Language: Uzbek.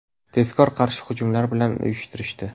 Tezkor qarshi hujumlar ham uyushtirishdi.